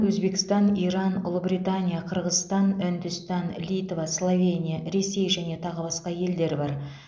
өзбекстан иран ұлыбритания қырғызстан үндістан литва словения ресей және тағы басқа елдер бар